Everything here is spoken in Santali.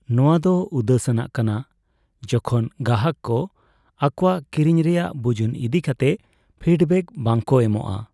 ᱱᱚᱣᱟᱫᱚ ᱩᱫᱟᱹᱥᱟᱱᱟᱜ ᱠᱟᱱᱟ ᱡᱚᱠᱷᱚᱱ ᱜᱟᱦᱟᱠ ᱠᱚ ᱟᱠᱚᱣᱟᱜ ᱠᱤᱨᱤᱧ ᱨᱮᱭᱟᱜ ᱵᱩᱡᱩᱱ ᱤᱫᱤ ᱠᱟᱛᱮ ᱯᱷᱤᱰᱵᱮᱠ ᱵᱟᱝ ᱠᱚ ᱮᱢᱼᱟ ᱾